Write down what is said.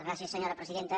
gràcies senyora presidenta